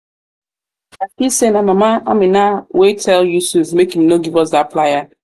i feel say na mama amina wey tell yusuf make im no give us dat plier